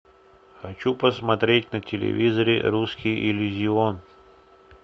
хочу посмотреть на телевизоре русский иллюзион